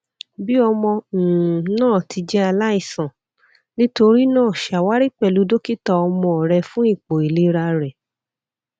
bi ọmọ um naa ti jẹ alaisan nitori naa ṣawari pẹlu dokita ọmọ rẹ fun ipo ilera rẹ